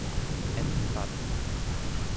Ann Krabbe